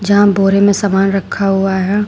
यहां बोरी में समान रखा हुआ है।